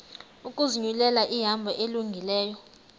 ukuzinyulela ihambo elungileyo